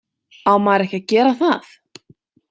Á maður ekki að gera það?